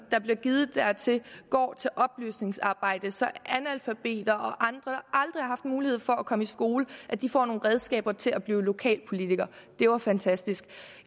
der blev givet dertil går til oplysningsarbejde så analfabeter og andre der aldrig har haft mulighed for at komme i skole får nogle redskaber til at blive lokalpolitikere det var fantastisk